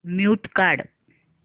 mute काढ